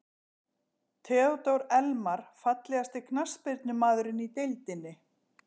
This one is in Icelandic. Theodór Elmar Fallegasti knattspyrnumaðurinn í deildinni?